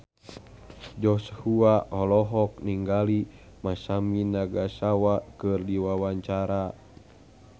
Joshua olohok ningali Masami Nagasawa keur diwawancara